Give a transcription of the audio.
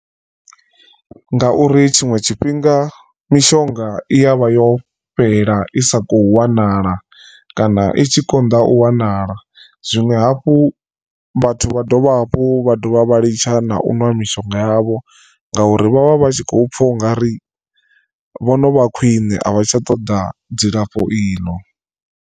Ngauri tshiṅwe tshifhinga mishonga i ya vha yo fhela i sa khou wanala kana i tshi konḓa u wanala, zwiṅwe hafhu vhathu vha dovha hafhu vha dovha vha litsha na u nwa mishonga yavho ngauri vhavha vhatshi kho pfha ungari vho no vha khwine a vha tsha ṱoḓa dzilafho iḽo.